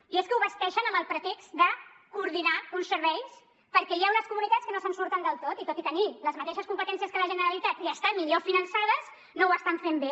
i és que ho vesteixen amb el pretext de coordinar uns serveis perquè hi ha unes comunitats que no se’n surten del tot i tot i tenir les mateixes competències que la generalitat i estar millor finançades no ho estan fent bé